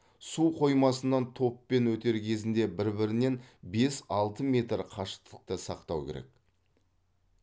су қоймасынан топпен өтер кезінде бір бірінен бес алты метр қашықтықты сақтау керек